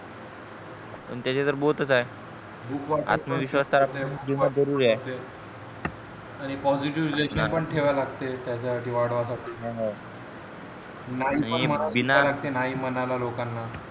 आणि त्याचे तर both च आहे आत्मविश्वास जरुरी आहे आणि positive relation पण ठेवा लागते त्याच्या साठी वाढवा साठी नाही पण म्हणू करत नाही नाही म्हणायला लोकांना